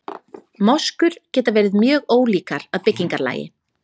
moskur geta verið mjög ólíkar að byggingarlagi